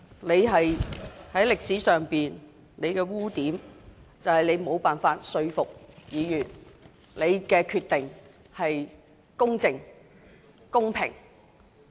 你在歷史上的污點就是你無法說服議員，認為你所作的決定是公正和公平的。